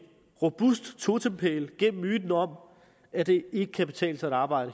robust totempæl gennem myten om at det ikke kan betale sig at arbejde